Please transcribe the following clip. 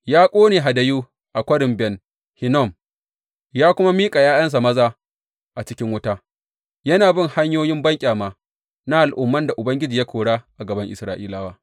Ya ƙone hadayu a Kwarin Ben Hinnom, ya kuma miƙa ’ya’yansa maza a cikin wuta, yana bin hanyoyi banƙyama na al’umman da Ubangiji ya kora a gaban Isra’ilawa.